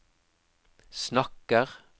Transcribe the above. snakker